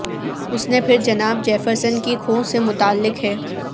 اس نے پھر جناب جیفرسن کی کھوہ سے متعلق ہے